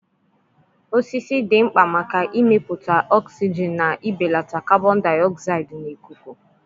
osisi dị mkpa maka imepụta oxygen na ibelata carbon dioxide na ikuku.